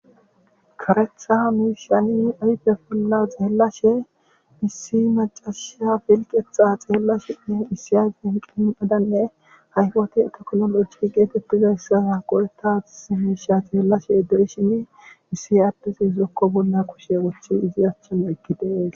karethaha miishiyani aype bolla xeellashe misi macasha filqetxa xeellashenne isiyai qiiadanne hayfoti etokololoji geetettizayssa qoreta zimiisha xeellashe ede shimi missih addesi izokko bolla koshe wochi izi achchama ekkidee